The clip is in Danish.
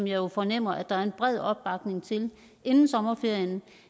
jo fornemmer at der er en bred opbakning til inden sommerferien